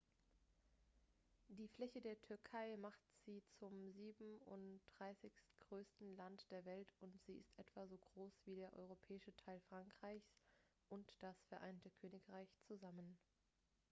die fläche der türkei macht sie zum 37.-größten land der welt und sie ist etwa so groß wie der europäische teil frankreichs und das vereinigte königreich zusammen